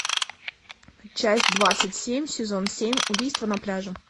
часть двадцать семь сезон семь убийство на пляже